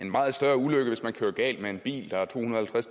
meget større ulykke hvis man kører galt med en bil der er tohundrede og